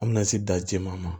An bɛna se da jɛman ma